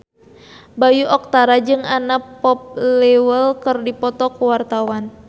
Bayu Octara jeung Anna Popplewell keur dipoto ku wartawan